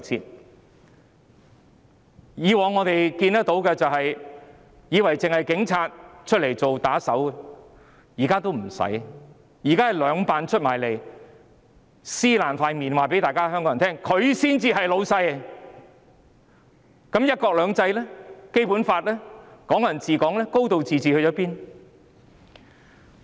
我們以往看見警察的所作所為，以為只有警察出來當打手，現在也不用了，現在是兩辦出來撕破臉皮，公開告訴大家，他們才是老闆，那麼，"一國兩制"、《基本法》、"港人自治"和"高度自治"都到哪裏去了？